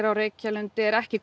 á Reykjalundi er ekki